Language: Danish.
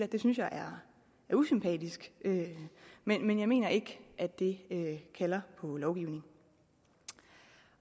det synes jeg er usympatisk men jeg mener ikke at det kalder på lovgivning